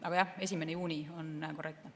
Aga jah, 1. juuni on korrektne.